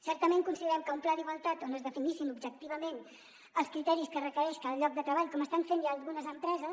certament considerem que un pla d’igualtat on es definissin objectivament els criteris que requereix cada lloc de treball com estan fent ja algunes empreses